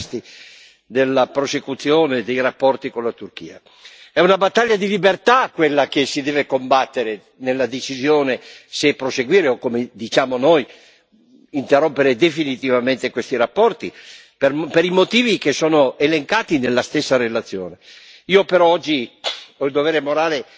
Cosa direbbe Simone Veil a sentire tutti questi entusiasti della prosecuzione dei rapporti con la Turchia? È una battaglia di libertà quella che si deve combattere nella decisione se proseguire o, come diciamo noi, interrompere definitivamente questi rapporti per i motivi che sono elencati nella stessa relazione.